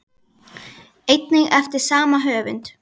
einnig eftir sama höfund.